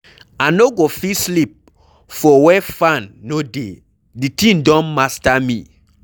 I no go fit sleep for where fan no dey, the thing don master me.